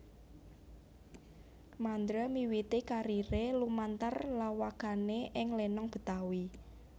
Mandra miwiti kariré lumantar lawakané ing lenong Betawi